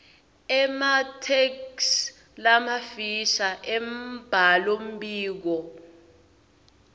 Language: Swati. ematheksthi lamafisha embhalombiko